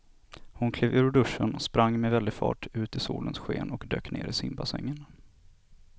Hon klev ur duschen, sprang med väldig fart ut i solens sken och dök ner i simbassängen.